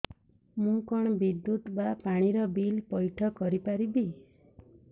ମୁ କଣ ବିଦ୍ୟୁତ ବା ପାଣି ର ବିଲ ପଇଠ କରି ପାରିବି